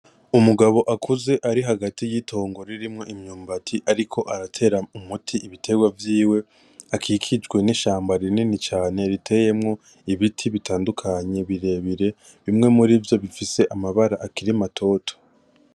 Umugabo akuze ari hagati y'itongo ririmwo imyumbati ariko aratera umuti ibiterwa vyiwe akikijwe n'ishamba rinini cane riteyemwo ibiti bitandukanye birebire bimwe muri vyo bifise amabara akiri matoto.